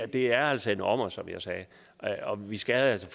det er altså en ommer som jeg sagde og vi skal altså